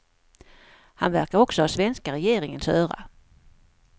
Han verkar också ha svenska regeringens öra.